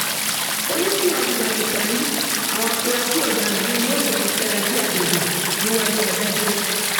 ó ní tìwádìí bá ti parí àwọn afurasí ọdaràn náà yóò fẹnu fẹra bíi abẹbẹbẹ níwájú adájọ